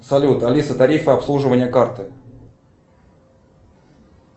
салют алиса тарифы обслуживания карты